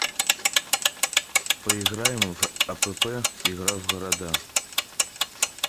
поиграем в апп игра в города